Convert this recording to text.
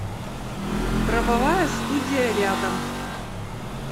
правовая студия рядом